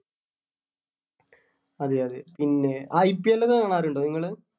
അതെ അതെ പിന്നെ IPL ഒക്കെ കാണാറുണ്ടോ നിങ്ങള്